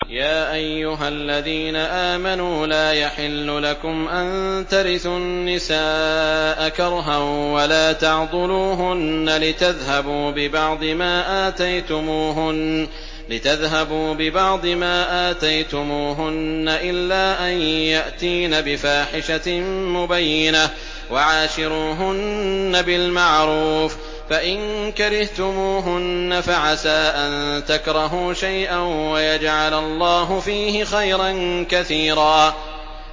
يَا أَيُّهَا الَّذِينَ آمَنُوا لَا يَحِلُّ لَكُمْ أَن تَرِثُوا النِّسَاءَ كَرْهًا ۖ وَلَا تَعْضُلُوهُنَّ لِتَذْهَبُوا بِبَعْضِ مَا آتَيْتُمُوهُنَّ إِلَّا أَن يَأْتِينَ بِفَاحِشَةٍ مُّبَيِّنَةٍ ۚ وَعَاشِرُوهُنَّ بِالْمَعْرُوفِ ۚ فَإِن كَرِهْتُمُوهُنَّ فَعَسَىٰ أَن تَكْرَهُوا شَيْئًا وَيَجْعَلَ اللَّهُ فِيهِ خَيْرًا كَثِيرًا